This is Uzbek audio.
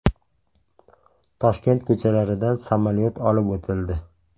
Toshkent ko‘chalaridan samolyot olib o‘tildi.